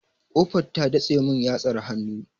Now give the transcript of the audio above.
Ƙofar ta datse mun yatsar hannu.